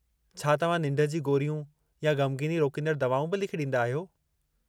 छा तव्हां निंढ जी गोरियूं या ग़मगीनी रोकींदड़ दवाऊं बि लिखी ॾींदा आहियो?